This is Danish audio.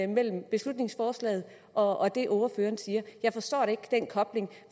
mellem beslutningsforslaget og det ordføreren siger jeg forstår ikke den kobling